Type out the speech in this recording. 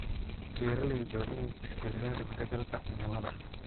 Beeraleydu waa inay tixgeliyaan isbeddelka cimilada.